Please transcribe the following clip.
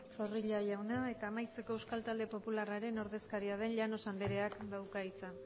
zorrilla jauna eta amaitzeko euskal talde popularraren ordezkaria den llanos andreak dauka hitza